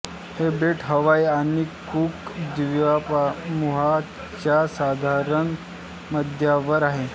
हे बेट हवाई आणि कूक द्वीपसमूहाच्या साधारण मध्यावर आहे